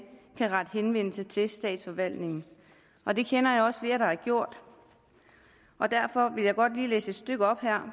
kan rette henvendelse til statsforvaltningen og det kender jeg også flere der har gjort derfor vil jeg godt lige læse et stykke